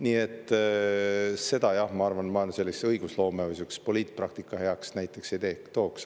Nii et seda jah, ma arvan, ma õigusloome või poliitpraktika heaks näiteks ei tooks.